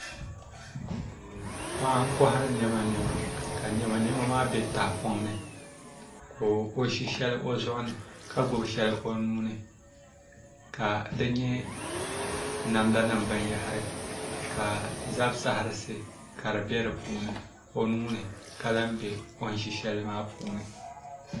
Paɣa n nkohari niɛma niɛma ka niɛma niɛma maa bɛ tahapoŋ ni ka o ʒi shɛli o zuɣu ni ka gbubi shɛli o nuuni ka di nyɛ namda nim binyahari ka zab saɣarisi ka di bɛ o nuuni ka lahi bɛ o ni ʒi shɛli maa puuni